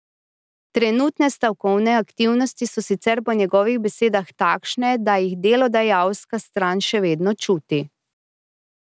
Trenutne stavkovne aktivnosti so sicer po njegovih besedah takšne, da jih delodajalska stran še vedno čuti.